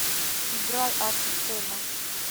играй азусена